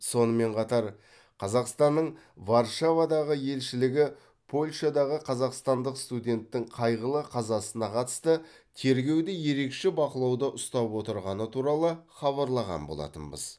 сонымен қатар қазақстанның варшавадағы елшілігі польшадағы қазақстандық студенттің қайғылы қазасына қатысты тергеуді ерекше бақылауда ұстап отырғаны туралы хабарлаған болатынбыз